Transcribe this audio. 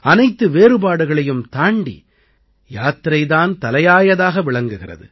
அனைத்து வேறுபாடுகளையும் தாண்டி யாத்திரை தான் தலையாயதாக விளங்குகிறது